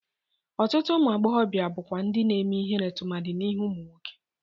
Ọtụtụ ụmụ agbọghọbịa bụkwa ndị na-eme ihere tụmadị n'ihu ụmụ nwoke.